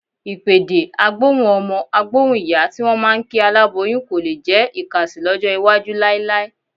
Ìpèdè "á gbóhùn ọmọ, á gbóhùn ìyá" tí wọ́n máa ń kí aláboyún kò lé jẹ́ ìkàsì lọ́jọ́ iwájú láíláí.